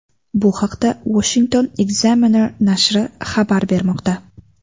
Bu haqda Washington Examiner nashri xabar bermoqda .